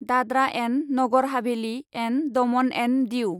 Dadra and Nagar Haveli and Daman and Diu